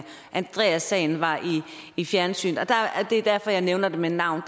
andreassagen var i i fjernsynet og det er derfor jeg nævner det med navn